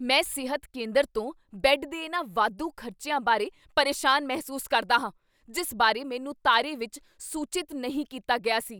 ਮੈਂ ਸਿਹਤ ਕੇਂਦਰ ਤੋਂ ਬੈੱਡ ਦੇ ਇਹਨਾਂ ਵਾਧੂ ਖ਼ਰਚਿਆਂ ਬਾਰੇ ਪਰੇਸ਼ਾਨ ਮਹਿਸੂਸ ਕਰਦਾ ਹਾਂ ਜਿਸ ਬਾਰੇ ਮੈਨੂੰ ਤਾਰੇ ਵਿੱਚ ਸੂਚਿਤ ਨਹੀਂ ਕੀਤਾ ਗਿਆ ਸੀ।